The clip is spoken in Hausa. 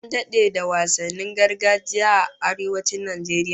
An dade da wasannin gargajiya a Arewacin Najeriya